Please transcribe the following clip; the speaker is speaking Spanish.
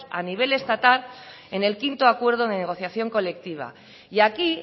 a nivel estatal en el quinto acuerdo de negociación colectiva y aquí